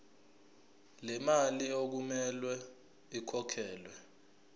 lemali okumele ikhokhelwe